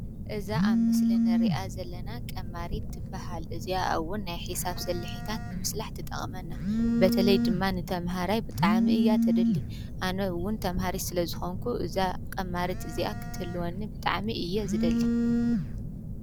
እዛ ኣብ ምስሊ ንሪኣ ዘለና ቀማሪት ትበሃል:: እዚኣ እውን ናይ ሒሳብ ስልሒታት ንምስላሕ ትጠቕመና። በተለይ ድማ ንተማሃራይ ብጣዕሚ ኢያ ተድሊ፣ ኣነ እውን ተማሃሪት ስለ ዝኮንኩ እዛ ቀማሪት እዚኣ ክትህልዎኒ ብጣዕሚ እየ ዝደሊ::